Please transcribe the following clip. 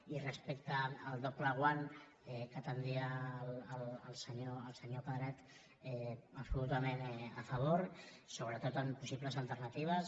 i respecte al doble guant que oferia el senyor pedret absolutament a favor sobretot amb possibles alternatives